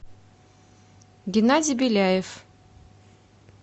геннадий беляев